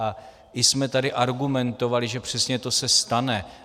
A i jsme tady argumentovali, že přesně to se stane.